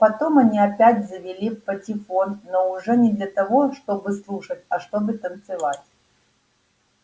потом они опять завели патефон но уже не для того чтобы слушать а чтобы танцевать